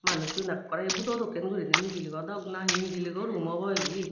manuchun ekkore budo dokken gurine mijiligo dok nahi mijiligo room obo ebey.